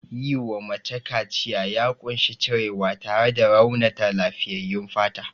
Yiwa mace kaciya ya ƙunshi cirewa tare da raunata lafiyyayyun fata.